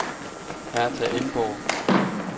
Hertha Emborg